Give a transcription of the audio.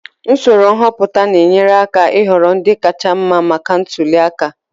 Usoro nhọpụta na-enyere aka ịhọrọ ndị kacha mma maka ntuli aka